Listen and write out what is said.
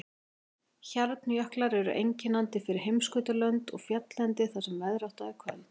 Hjarnjöklar eru einkennandi fyrir heimskautalönd og fjalllendi þar sem veðrátta er köld.